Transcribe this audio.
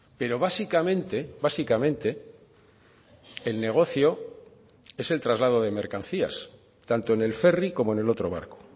pero básicamente básicamente el negocio es el traslado de mercancías tanto en el ferry como en el otro barco